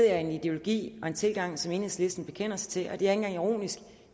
er en ideologi og en tilgang som enhedslisten bekender sig til det engang ironisk